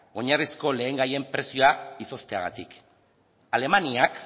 oinarrizko lehengaien prezioa izozteagatik alemaniak